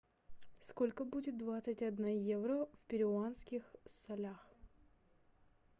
сколько будет двадцать одна евро в перуанских солях